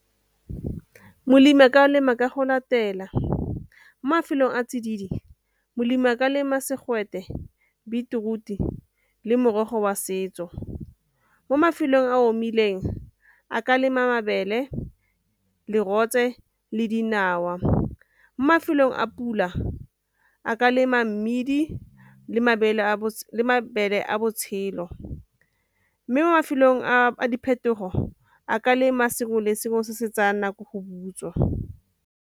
Molemi a ka a lema ka go latela, mo mafelong a tsididi molemi a ka lema segwete, beetroot-i, le morogo wa setso. Mo mafelong a a omileng a ka lema mabele, lerole le dinawa. Mo mafelong a pula a ka lema mmidi le mabele a botshelo mme mo mafelong a diphetogo a ka lema sengwe le sengwe se se tsayang nako go butswa.